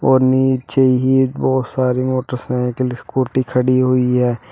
और नीचे ही बहुत सारी मोटरसाइकिल स्कूटी खड़ी हुई है।